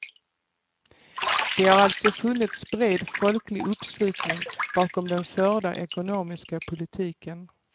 Det har alltså funnits bred folklig uppslutning bakom den förda ekonomiska politiken.